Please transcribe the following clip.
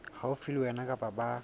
haufi le wena kapa ba